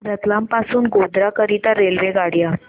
रतलाम पासून गोध्रा करीता रेल्वेगाड्या